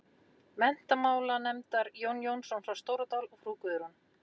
Menntamálanefndar, Jón Jónsson frá Stóradal og frú Guðrún